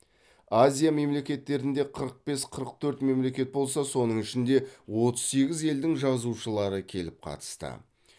азия мемлекеттерінде қырық бес қырық төрт мемлекет болса соның ішінде отыз сегіз елдің жазушылары келіп қатысты